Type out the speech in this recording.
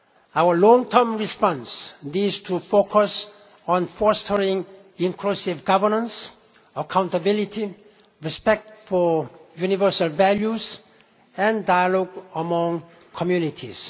Our long term response needs to focus on fostering inclusive governance, accountability, respect for universal values, and dialogue among communities.